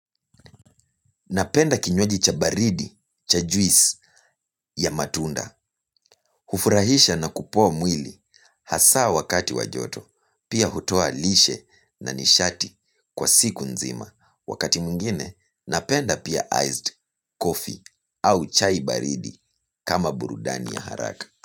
Napenda kinywaji cha baridi cha juisi ya matunda. Hufurahisha na kupoa mwili hasaa wakati wa joto. Pia hutoa lishe na nishati kwa siku nzima. Wakati mwingine napenda pia iced coffee au chai baridi kama burudani ya haraka.